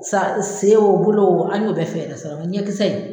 Sa se o bolo o an y'o bɛɛ fɛɛrɛ sɔrɔ ŋa ɲɛ kisɛ in